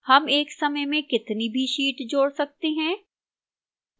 हम एक समय में कितनी भी sheets जोड़ सकते हैं